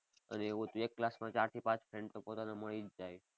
અને એવું હતું એક class માં ચાર થી પાંચ friend તો પોતાના મળી જ જાય.